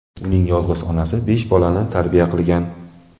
Uning yolg‘iz onasi besh bolani tarbiya qilgan.